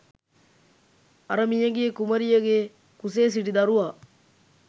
අර මියගිය කුමරියගේ කුසේ සිටි දරුවා